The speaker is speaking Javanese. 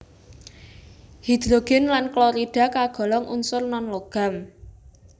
Hidrogen lan klorida kagolong unsur non logam